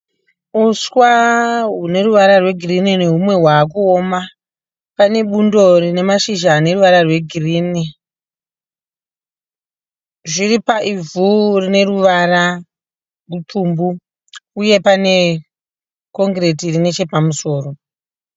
Uswa hune ruvara rwegirinhi nehumwe hwavakuoma. Pane bundo rine mashizha aneruvara rwegirinhi. Zviri paivhu rine ruvara rupfumbu uye pane kongireti iri nechepamusoro.